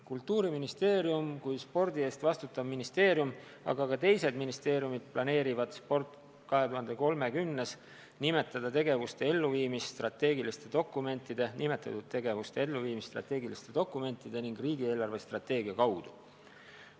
Kultuuriministeerium kui spordi eest vastutav ministeerium, aga ka teised ministeeriumid planeerivad "Sport 2030-s" nimetatud tegevuste elluviimist strateegiliste dokumentide ning riigi eelarvestrateegia kaudu.